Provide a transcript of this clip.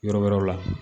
Yɔrɔ wɛrɛw la